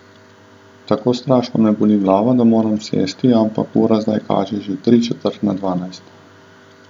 Tako strašno me boli glava, da moram sesti, ampak ura zdaj kaže že tri četrt na dvanajst.